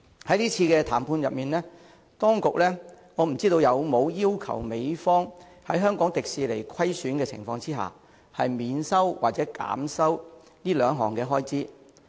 在這次談判中，當局有否要求美方在香港迪士尼出現虧損的情況下，免收或減收這兩項開支？